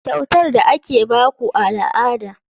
Kyautar da ake ba ku a al'ada.